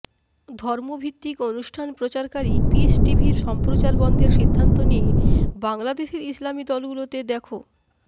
ধর্ম ভিত্তিক অনুষ্ঠান প্রচারকারী পিস টিভির সম্প্রচার বন্ধের সিদ্ধান্ত নিয়ে বাংলাদেশের ইসলামি দলগুলোতে দেখ